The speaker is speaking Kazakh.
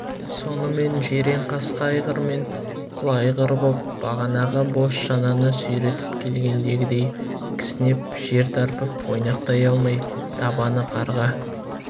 сонымен жиренқасқа айғыр мен құла айғыр боп бағанағы бос шананы сүйретіп келгендегідей кісінеп жер тарпып ойнақтай алмай табаны қарға